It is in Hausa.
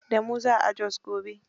Da mu za a Jos gobe.